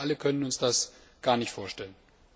Ich glaube, wir können uns das gar nicht vorstellen.